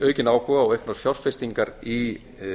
aukinn áhuga á auknu fjárfestingar í